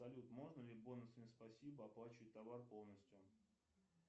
салют можно ли бонусами спасибо оплачивать товар полностью